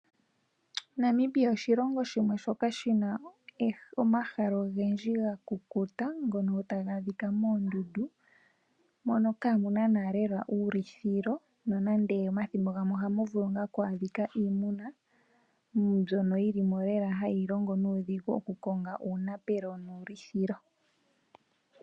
Namibia oshilongo shimwe shoka shina omahala ogendji ga kukuta ngono taga adhika moondundu, mono kaa muna nanaa lela uulithilo nanande omathimbo gamwe ohamu vulu ngaa nee oku adhika iimuna mbyono yili limo lela hayi longo nuudhigu oku konga uunapelo nuulithilo.